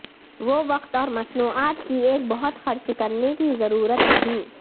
وہ وقت اور مصنوعات کی ایک بہت خرچ کرنے کی ضرورت نہیں